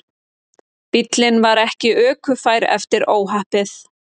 Bíllinn var ekki ökufær eftir óhappið